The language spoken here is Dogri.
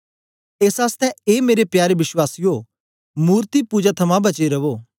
एस आसतै ए मेरे प्यारे वश्वासीयो मूर्ति पुजा थमां बचे रवो